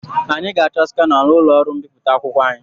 Anyị ga-achọ skana n'ụlọ ọrụ mbipụta akwụkwọ anyị.